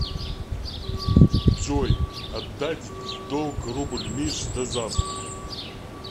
джой отдать в долг рубль мише до завтра